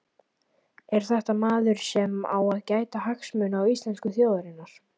Er þetta maður sem á að gæta hagsmuna íslensku þjóðarinnar?